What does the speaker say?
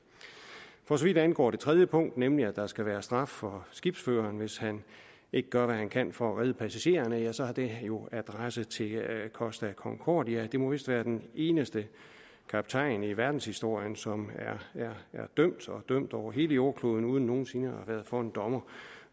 for så vidt angår det tredje punkt nemlig at der skal være straf for skibsføreren hvis han ikke gør hvad han kan for at redde passagererne så har det jo adresse til costa concordia det må vist være den eneste kaptajn i verdenshistorien som er dømt og dømt over hele jordkloden uden nogen sinde at været for en dommer